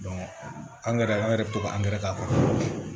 angɛrɛ an yɛrɛ bɛ to ka an gɛrɛ k'a kɔnɔ